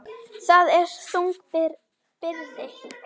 Það er þung byrði.